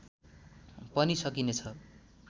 पनि सकिने छ